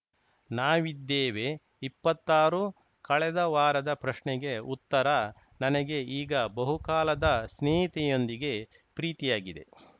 ನಾವಿದ್ದೇವೆ ಇಪ್ಪತ್ತಾರು ಕಳೆದ ವಾರದ ಪ್ರಶ್ನೆಗೆ ಉತ್ತರ ನನಗೆ ಈಗ ಬಹುಕಾಲದ ಸ್ನೇಹಿತೆಯೊಂದಿಗೆ ಪ್ರೀತಿಯಾಗಿದೆ